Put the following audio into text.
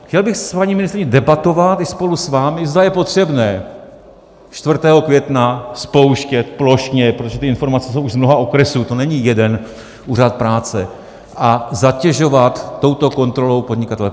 Chtěl bych s paní ministryní debatovat i spolu s vámi, zda je potřebné 4. května spouštět plošně, protože ty informace jsou už z mnoha okresů, to není jeden úřad práce, a zatěžovat touto kontrolou podnikatele.